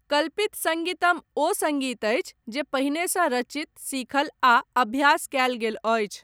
कल्पित सङ्गीतम ओ सङ्गीत अछि जे पहिनेसँ रचित, सीखल आ अभ्यास कयल गेल अछि।